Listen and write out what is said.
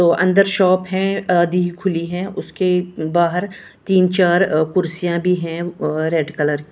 तो अंदर शॉप है आदि खुली है उसके बाहर तीन चार अ कुर्सियां भी हैं और रेड कलर --